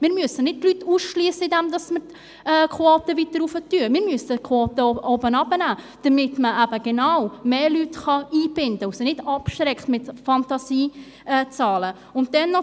Wir müssen die Leute nicht ausschliessen, indem wir die Quote weiter erhöhen, wir müssen sie herunterholen, damit man eben genau mehr Leute einbinden kann und sie nicht mit Fantasiezahlen abschreckt.